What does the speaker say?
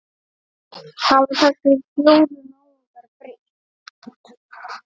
Hafa þessir fjórir náungar breyst?